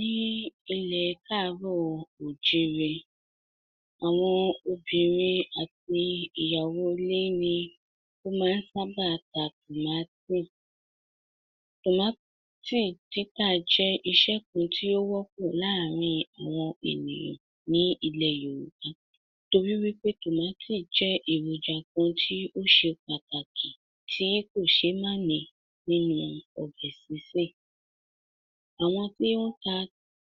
Ní ilẹ̀ káàárọ̀ òjíire, àwọn obìnrin àti ìyàwó ilé ní ó máa sábà ta tòmátì. Tòmátì títà jẹ́ iṣẹ́ kan tí ó wọ́pọ̀ láàárín àwọn ènìyàn ní ilẹ̀ Yorùbá torí wí pé tòmátì jẹ́ èròjà kan tí ó ṣe pàtàkì tí kò ṣe máa ní nínú ọbẹ̀ sísè. Awọn tí o ta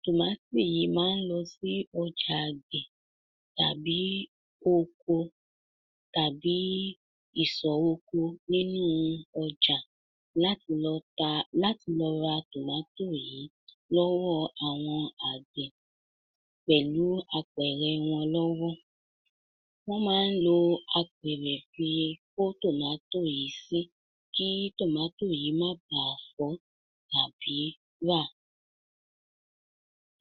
tòmátì yìí máa lọ sí ọjà àgbẹ̀ tàbí oko tàbí ìsọ̀ oko nínú ọjà láti lọ ta, láti lọ rà tòmátò yìí lọ́wọ́ àwọn àgbẹ̀ pẹ̀lú apẹ̀rẹ̀ wọn lọ́wọ́. Wọ́n máa lọ apẹ̀rẹ̀ àti kó tòmátò yìí sí, kí tòmátò yìí má bá fọ́ tàbí rà.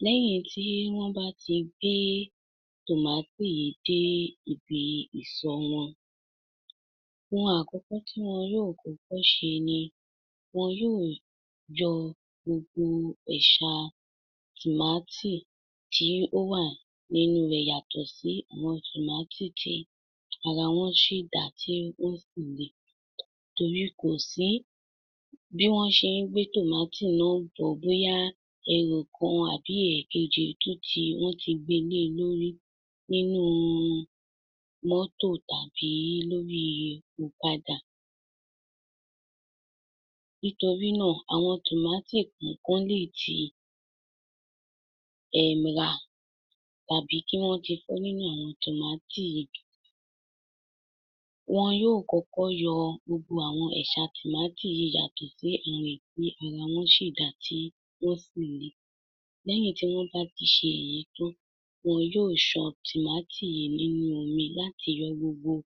Lẹ́yìn tí wọ́n bá tí gbé tòmátò yìí dé ibi ìsọ̀ wọn, ohun àkọ́kọ́ tí wọn yóò kọ́kọ́ ṣe ni, wọ́n yóò yọ gbogbo ẹ̀ṣà tòmátì tí ó wà nínú rẹ̀ yàtọ̀ sí àwọn tòmátì tí ara wọn ṣì dáa tí sì re. Torí kò sí bí wọn ṣe gbé tòmátì náà bọ̀, bóyá ẹ̀rù kan àbí ẹ̀kejì tí tu, wọn tí gbé le lórí nínú mọ́tò tàbí lórí ọ̀kadà. Torí náà àwọn tòmátì kànkan lè tí rà tàbí kí wọn tí fọ nínú àwọn tòmátì. Wọ́n yóò kọ́kọ́ yọ gbogbo àwọn ẹ̀ṣà tòmátì yìí yàtọ̀ sí èyí ara wọn ṣì dá tàbí tí ó ṣì le. Lẹ́yìn tí wọ́n bá ti ṣe èyí tán, wọ́n yóò san tòmátì yìí nínú omi láti yọ gbogbo àwọn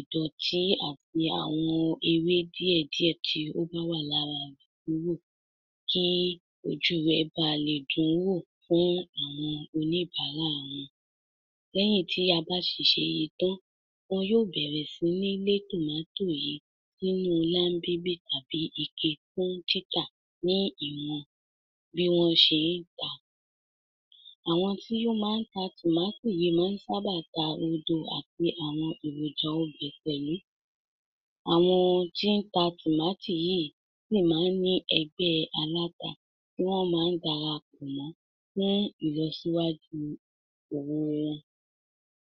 ìdọ̀tí àti àwọn ewé díẹ̀ díẹ̀ tí ó bá wà lára rẹ̀ kúrò, kí ojú rẹ̀ balè dùn wò fún àwọn oníbáàrà wọn. Lẹ́yìn tí a bá ti ṣe èyí tán, wọ́n yóò bẹ̀rẹ̀ sí ní le tòmátò yìí sínú lábébé tàbí ike fún títà ní ìwọ̀n bí wọn ṣe ń tà á. Àwọn tí ó máa ń ta tòmátò ló máa sábà ta rodo àti àwọn èròjà ọbẹ̀ pẹ̀lú. Àwọn tí ta tòmátò yìí máa ní ẹgbẹ́ aláta tí wọn máa dara pọ̀ mọ́ fún ìlọsíwájú òwò wọn.